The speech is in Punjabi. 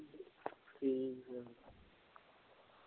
ਹਮ